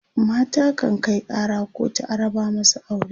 mata kan Kai Kara kotu a raba masu aure